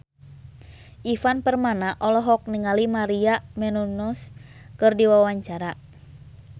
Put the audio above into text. Ivan Permana olohok ningali Maria Menounos keur diwawancara